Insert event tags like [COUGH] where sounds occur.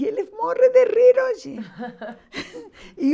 E ele morre de rir hoje. [LAUGHS] E